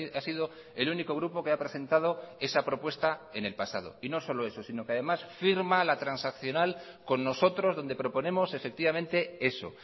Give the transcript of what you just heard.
ha sido el único grupo que ha presentado esa propuesta en el pasado y no solo eso sino que además firma la transaccional con nosotros donde proponemos efectivamente eso